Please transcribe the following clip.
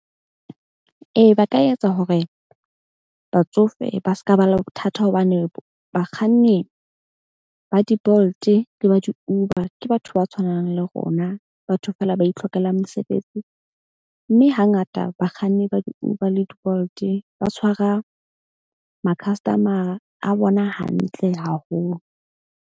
Ee, ba ka etsa hore batsofe ba seka ba le bothata hobane bakganni ba di- Bolt-e le ba di-Uber ke batho ba tshwanang le rona. Batho feela ba itlhokelang mesebetsi, mme hangata bakganni ba di-Uber le di-Bolt-e ba tshwara ma-customer-a a bona hantle haholo.